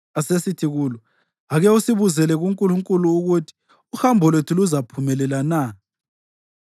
Asesithi kulo, “Ake usibuzele kuNkulunkulu ukuthi uhambo lwethu luzaphumelela na.”